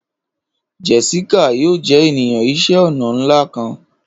Jessica yoo jẹ eniyan iṣẹ ọna nla kan.